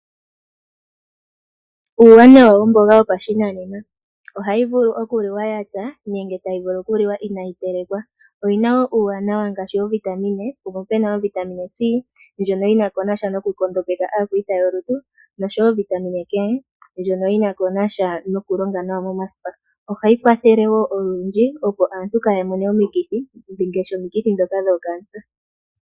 Uuwanawa womboga yopashinanena. Ohayi vulu okuliwa yapya nenge tayi vulu okuliwa inayi telekwa. Oyi na uuwanawa ngaashi oovitamine mono mu na ovitamine C ndjono yi na sha nokunkondopeka aakwiita yolutu . Nosho wo ovitamine E ndjono yi na sha nokulonga nawa momasipa. Ohayi kwathele woo olundji opo aantu kaya mone omikithi ngaashi ndhoka dho kaankela.